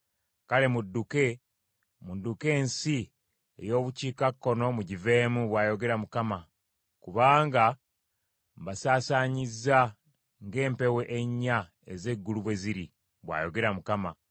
“Kale mudduke, mudduke ensi ey’obukiikakkono mugiveemu,” bw’ayogera Mukama , “kubanga mbasaasanyizza ng’empewo ennya ez’eggulu bwe ziri,” bw’ayogera Mukama .